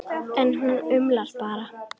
En hún umlar bara.